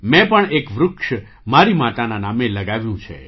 મેં પણ એક વૃક્ષ મારી માતાના નામે લગાવ્યું છે